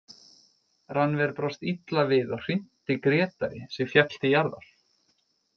Rannver brást illa við og hrinti Grétari sem féll til jarðar.